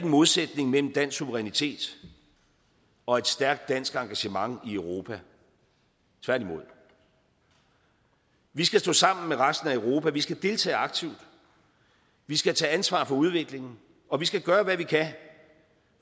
modsætning mellem dansk suverænitet og et stærkt dansk engagement i europa tværtimod vi skal stå sammen med resten af europa vi skal deltage aktivt vi skal tage ansvar for udviklingen og vi skal gøre hvad vi kan